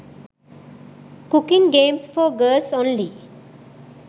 cooking games for girls only